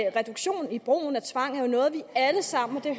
reduktion i brugen af tvang er jo noget vi alle sammen og det